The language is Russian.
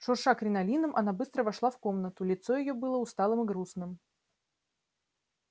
шурша кринолином она быстро вошла в комнату лицо её было усталым и грустным